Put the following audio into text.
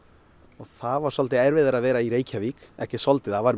og það var svolítið erfiðara að vera í Reykjavík ekki svolítið það var